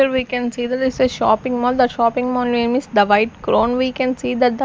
here we can see that this is a shopping mall the shopping mall name is the vibe crown we can see the --